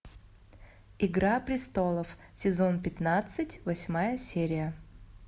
игра престолов сезон пятнадцать восьмая серия